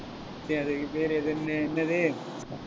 டேய் அதுக்கு பேரு எதுன்னு என்னது